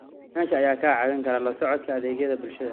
Aqoonsiyaasha ayaa kaa caawin kara la socodka adeegyada bulshada.